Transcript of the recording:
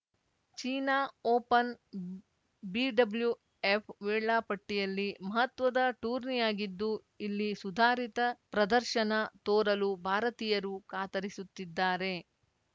China open BWF ವೇಳಾಪಟ್ಟಿಯಲ್ಲಿ ಮಹತ್ವದ ಟೂರ್ನಿಯಾಗಿದ್ದು ಇಲ್ಲಿ ಸುಧಾರಿತ ಪ್ರದರ್ಶನ ತೋರಲು ಭಾರತೀಯರು ಕಾತರಿಸುತ್ತಿದ್ದಾರೆ